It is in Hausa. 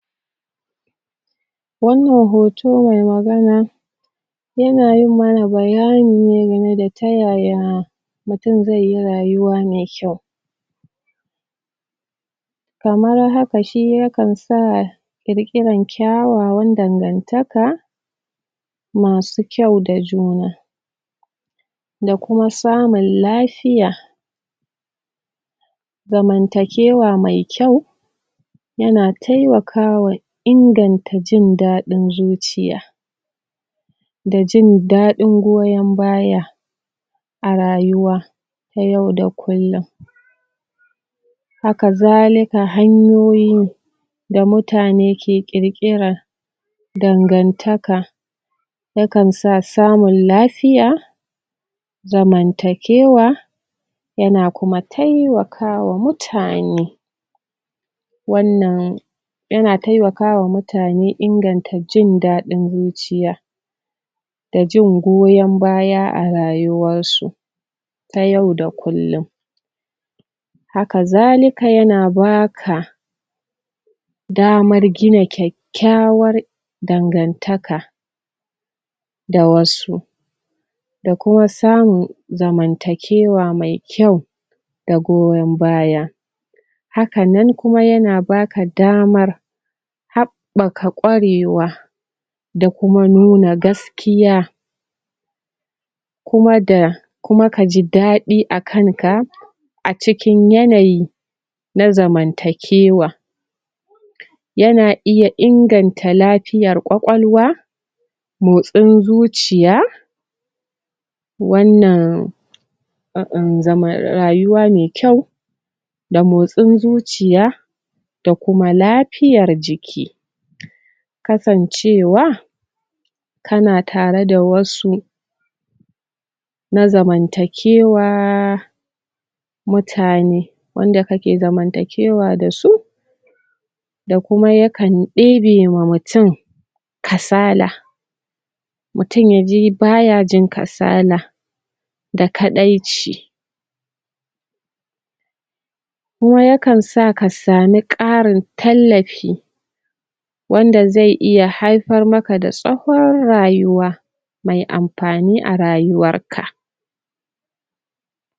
Wannan hoto mai magana yana yi mana bayani ne game da ta yaya mutum zai yi raywa mai kyau kamar haka shi yakan sa ƙirƙiran kyawawan dangantaka masu kyau da juna da kuma samun lafiya zamantakewa mai kyau yana taimakawa inganta jin daɗin zuciya dan jin daɗin goyon baya a rayuwa na yau da kullum haka zalika hamyoyin da mutane ke ƙirƙiran dangantaka dangantaka yakan sa samun lafiya zaman takewa yana kuma taimakawa mutane wannan yana taimakawa mutane inganta jin daɗin zuciya da jin goyon baya a rayuwansu ta yau da kullum haka zalika yana baka damar gina kyakkyawan dangantaka da wasu da kuma samun zamantakewa mai kyau da goyon baya haka nan kuma yana baka damar haɓɓaka ƙwarewa da kuma nuna gaskiya kuma da kuma kaji daɗi a kanka a cikin yanayi na zamantakewa yana iya inganta lafiyar ƙwaƙwalwa motsin zuciya wannan? zaman rayuwa mai kyau da motsin zuciya da kuma lafiyar jiki kasancewa kana tare da wasu na zamantakewa mutane wanda kake zamantakewa da su da kuma yakan ɗebe ma mutum kasala mutum ya ji baya jin kasala da kaɗaici kuma yakan sa ka ƙarin tallafi wanda zai haifar makla da tsawon rayuwa mai amfani a rayuwar ka